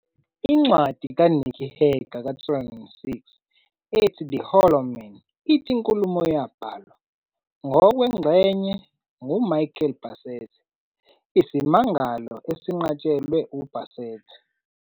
Incwadi ka-Nicky Hager ka-2006 ethi "The Hollow Men" ithi inkulumo yabhalwa, ngokwengxenye, nguMichael Bassett, isimangalo esinqatshelwe u-Bassett.